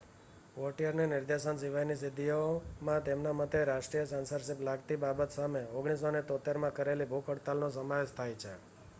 વૉટિયરની નિર્દેશન સિવાયની સિદ્ધિઓમાં તેમના મતે રાજકીય સેન્સરશિપ લાગતી બાબત સામે 1973માં કરેલી ભૂખ હડતાલનો સમાવેશ થાય છે